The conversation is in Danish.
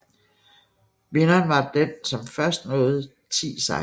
Vinderen var den som først nåede ti sejre